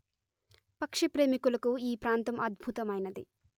పక్షి ప్రేమికులకు ఈ ప్రాంతం అధ్భుతమైనది